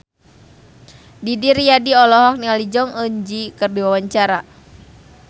Didi Riyadi olohok ningali Jong Eun Ji keur diwawancara